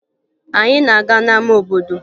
Anyị na-aga n'ama obodo